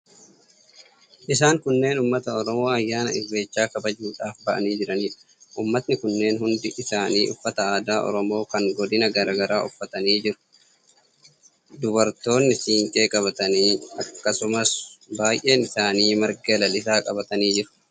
Isaan kunneen uummata Oromoo ayyaana Irreechaa kabajuudhaaf ba'anii jiraniidha. Uummatni kunneen hundi isaanii uffata aadaa Oromoo kan godina garaa garaa uffatanii jiru. Dubartoonni siinqee qabatanii, akkasumas baay'een isaanii marga lalisaa qabatanii jiru.